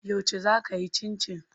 Yauce zaa kiyi cincin?